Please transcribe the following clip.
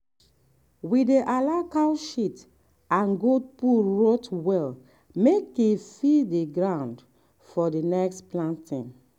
we dey allow cow shit and goat poo rot well make e feed the ground for next planting.